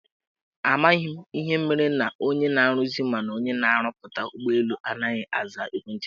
Amaghị m ihe mere na onye na-aruzi mana na-arụpụta ụgbọelu anaghị aza ekwenti anyị.